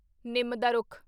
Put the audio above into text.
ਨਿੰਮ ਦਾ ਰੁੱਖ